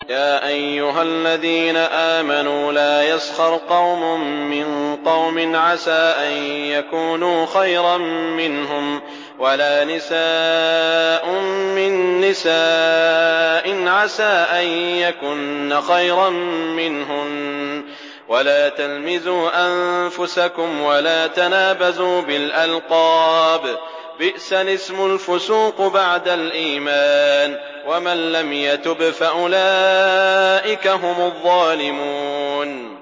يَا أَيُّهَا الَّذِينَ آمَنُوا لَا يَسْخَرْ قَوْمٌ مِّن قَوْمٍ عَسَىٰ أَن يَكُونُوا خَيْرًا مِّنْهُمْ وَلَا نِسَاءٌ مِّن نِّسَاءٍ عَسَىٰ أَن يَكُنَّ خَيْرًا مِّنْهُنَّ ۖ وَلَا تَلْمِزُوا أَنفُسَكُمْ وَلَا تَنَابَزُوا بِالْأَلْقَابِ ۖ بِئْسَ الِاسْمُ الْفُسُوقُ بَعْدَ الْإِيمَانِ ۚ وَمَن لَّمْ يَتُبْ فَأُولَٰئِكَ هُمُ الظَّالِمُونَ